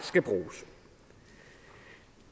skal bruges